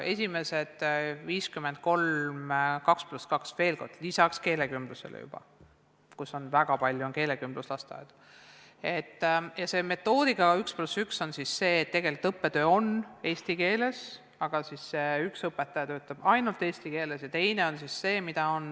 Esimesed 53 oli metoodikaga 2 + 2 – veel kord: lisaks keelekümblusele, sest on väga palju keelekümbluslasteaedu –, ja see metoodikaga 1 + 1 on siis see, et tegelikult õppetöö on eesti keeles, aga üks õpetaja töötab ainult eesti keeles ja on ka teine õpetaja.